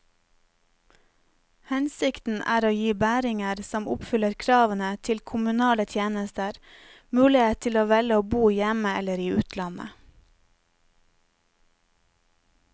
Hensikten er å gi bæringer som oppfyller kravene til kommunale tjenester, mulighet til å velge å bo hjemme eller i utlandet.